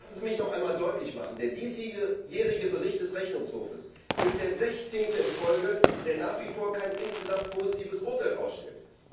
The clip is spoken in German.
Lassen Sie mich noch einmal deutlich machen Der diesjährige Bericht des Rechnungshofs ist der sechzehnte in Folge, der nach wie vor kein insgesamt positives Urteil ausstellt.